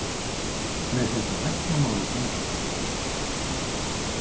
Með þetta læknamál í gangi.